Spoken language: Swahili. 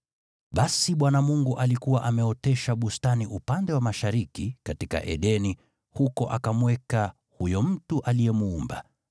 Basi Bwana Mungu alikuwa ameotesha bustani upande wa mashariki, katika Edeni, huko akamweka huyo mtu aliyemuumba.